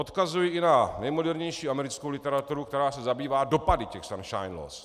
Odkazuji i na nejmodernější americkou literaturu, která se zabývá dopady těch sunshine laws.